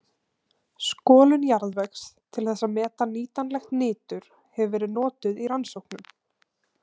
Skolun jarðvegs til þess að meta nýtanlegt nitur hefur verið notuð í rannsóknum.